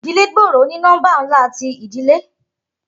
Idile gbooro ni nọmba nla ti idile.